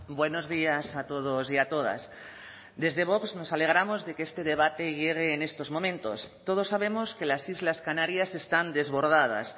buenos días a todos y a todas desde vox nos alegramos de que este debate llegue en estos momentos todos sabemos que las islas canarias están desbordadas